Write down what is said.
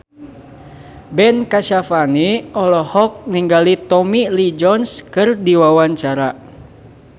Ben Kasyafani olohok ningali Tommy Lee Jones keur diwawancara